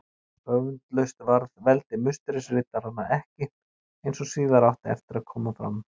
Öfundlaust varð veldi Musterisriddaranna ekki, eins og síðar átti eftir að koma fram.